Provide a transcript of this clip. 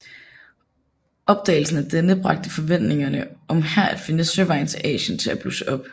Opdagelsen af denne bragte forventningerne om her at finde søvejen til Asien til at blusse op